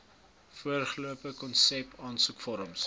voorgestelde konsep aansoekvorms